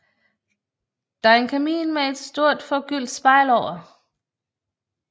Der er en kamin med et stort forgyldt spejl over